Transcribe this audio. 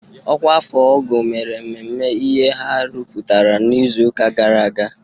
Ọkwa afọ ọ́gọ̀ mere mmemme ihe ha rụpụtara n'izuụka gara aga.